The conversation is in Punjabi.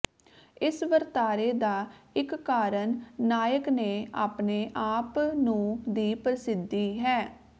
ਇਸ ਵਰਤਾਰੇ ਦਾ ਇਕ ਕਾਰਨ ਨਾਇਕ ਨੇ ਆਪਣੇ ਆਪ ਨੂੰ ਦੀ ਪ੍ਰਸਿੱਧੀ ਹੈ